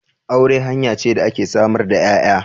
Aure hanya ce da ke samar da 'ya'ya.